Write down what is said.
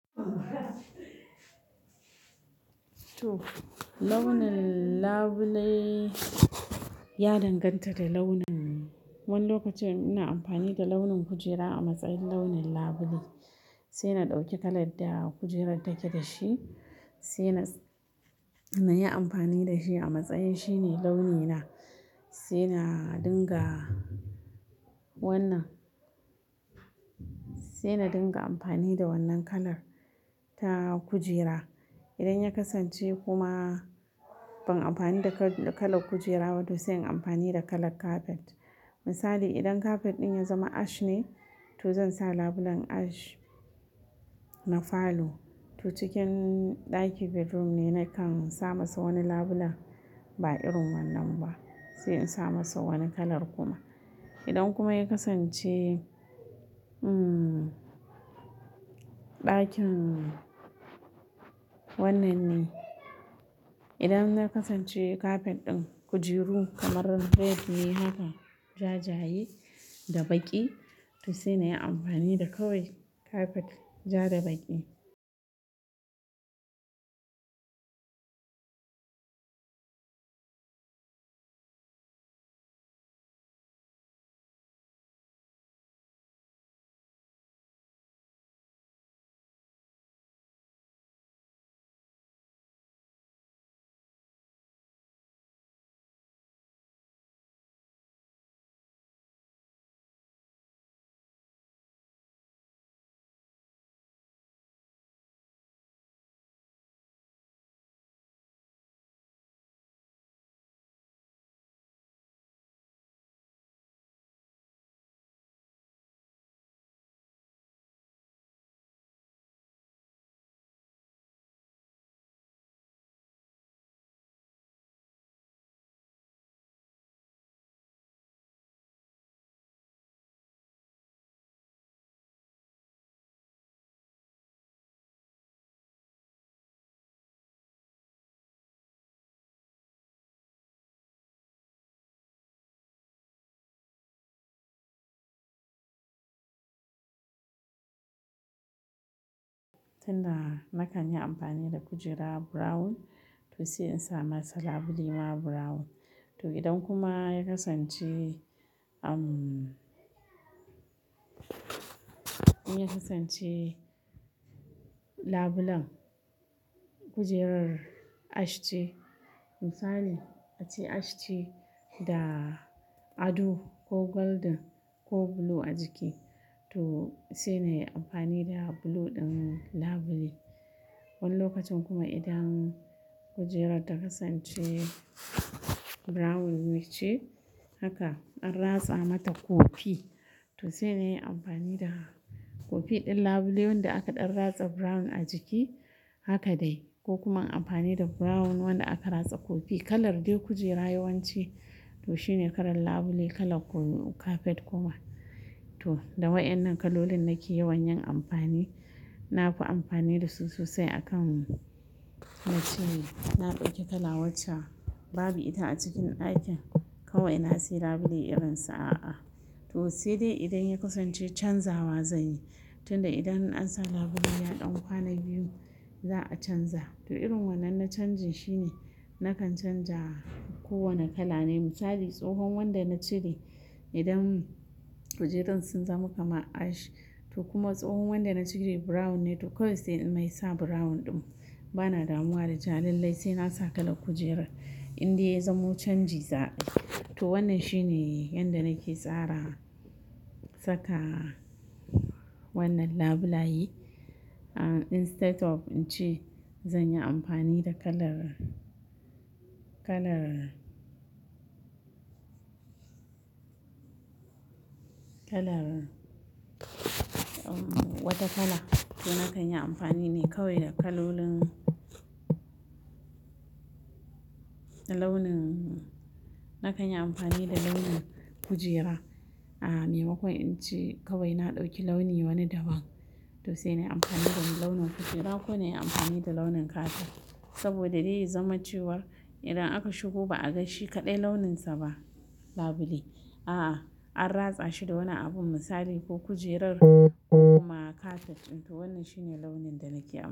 Toh launin labule ya danganta da launin. Wani lokacin ina amfani da launin kujera a matsayin launin labule, sai na ɗauki kalar da kujerar take da shi sai na, na yi amfani da shi a matsayin shine launi na. Sai na dinga wannan, sai na dinga amfani da wannan kalar ta kujera. Idan ya kasance kuma ban amfani da kal-kalar kujera ba to sai in amfani da kalar kafet. Misali, idan kafet ɗin ya zama ash ne to zan sa labulen ash na falo. To cikin ɗaki bedroom ne nakan sa masa wani labulen ba irin wannan ba, sai in sa masa wani kalar kuma. Idan kuma ya kasance, umm, ɗakin wannan ne. Idan ya kasance kafet ɗin kujeru kamar red ne haka jajaye da baƙi to sai na yi amfani da kawai kafet ja da baƙi. Tunda nakan yi amfani da kujera brown to sai in sa masa labule ma brown. To idan kuma ya kasance, umm, in ya kasance labulen kujerar ash ce misali ace ash ce da ado ko golden ko blue a jiki to sai na yi amfani da blue ɗin labule. Wani lokacin kuma idan kujerar ta kasance brown ne ce haka an ratsa mata kofi to sai na yi amfani da kofi ɗin labule wanda aka ɗan ratsa brown a jiki haka dai ko kuma in amfani da brown wanda aka ratsa kofi. Kalar dai kujera yawanci to shine kalar labule, kalar ko kafet kuma. To da wayannan kalolin nake yawan yin amfani. Na fi amfani da su sosai a kan wacce na ɗauki kala wacce babu ita a cikin ɗakin kawai na sai labule irinsa a'a. To sai dai idan ya kasance canzawa zan yi, tunda idan an sa labule ya ɗan kwana biyu za a canza. To irin wannan na canjin shine nakan canja kowane kala ne. Misali, tsohon wanda na cire idan kujerun sun zama kamar ash to kuma tsohon wanda na cire brown ne to kawai sai in mai sa brown ɗin. Bana damuwa da cewa lallai sai na sa kalar kujera indai ya zamo canji za a yi. To wannan shine yanda nake tsara saka wannan labulaye. Ah, instead of in ce zan yi amfani da kalar, kalar, kalar, umm, wata kala to nakan yi amfani ne kawai da kalolin, launin, nakan yi amfani da launin kujera. Ah maimakon in ce kawai na ɗauki launi wani daban to sai na yi amfani da launin kujera ko na yi amfani da launin kafet saboda dai ya zama cewar idan aka shigo ba a ga shi kaɗai launinsa ba, labule. A'a, an ratsa shi da wani abu misali ko kujerar ko kuma kafet. To wannan shine launin da nake amfani.